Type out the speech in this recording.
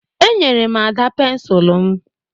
Enyere m Ada pensụl m